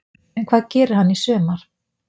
En hvað gerir hann í sumar?